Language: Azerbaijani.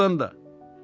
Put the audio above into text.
Doğrudan da.